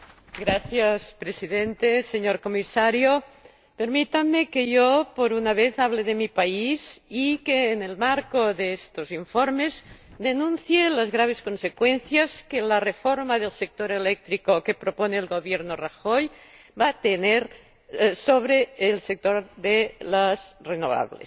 Señor Presidente, señor Comisario, permítanme que yo, por una vez, hable de mi país y que, en el marco de estos informes, denuncie las graves consecuencias que la reforma del sector eléctrico que propone el Gobierno de Mariano Rajoy va a tener sobre el sector de las renovables.